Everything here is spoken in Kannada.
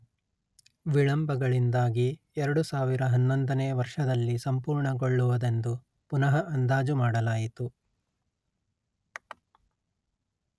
ವಿಳಂಬಗಳಿಂದಾಗಿ ಎರಡು ಸಾವಿರ ಹನ್ನೊಂದನೇ ವರ್ಷದಲ್ಲಿ ಸಂಪೂರ್ಣಗೊಳ್ಳುವುದೆಂದು ಪುನಃ ಅಂದಾಜುಮಾಡಲಾಯಿತು